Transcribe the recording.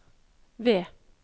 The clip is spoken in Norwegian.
ved